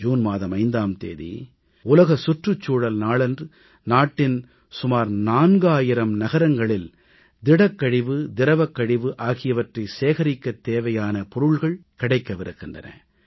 June மாதம் 5ஆம் தேதி உலக சுற்றுச்சூழல் நாளன்று நாட்டின் சுமார் 4000 நகரங்களில் திடக்கழிவு திரவக்கழிவு ஆகியவற்றை சேகரிக்கத் தேவையான பொருள்கள் கிடைக்கவிருக்கின்றன